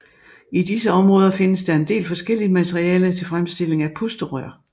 I disse områder findes der en del forskelligt materiale til fremstilling af pusterør